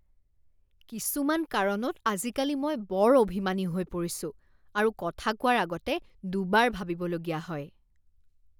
কিছুমান কাৰণত আজিকালি মই বৰ অভিমানী হৈ পৰিছো আৰু কথা কোৱাৰ আগতে দুবাৰ ভাবিবলগীয়া হয়।